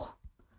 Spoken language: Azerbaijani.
Qulduruq.